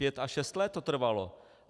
Pět až šest let to trvalo.